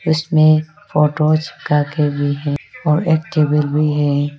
इसमें फोटो चिपका के भी है और एक टेबल भी है।